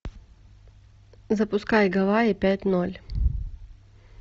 запускай гавайи пять ноль